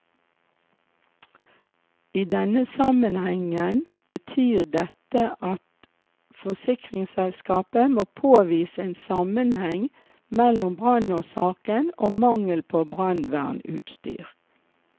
I denne sammenhengen betyr dette at forsikringsselskapet må påvise en sammenheng mellom brannårsaken og mangel på brannvernutstyr.